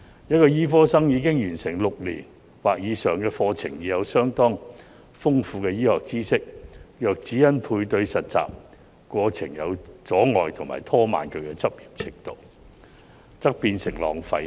一名醫科生已經完成6年或以上的課程，有相當豐富的醫學知識，若只因配對實習過程有阻礙而拖慢其執業進度，則變成浪費。